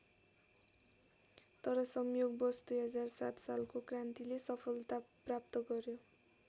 तर संयोगवश २००७ सालको क्रान्तिले सफलता प्राप्त गर्‍यो।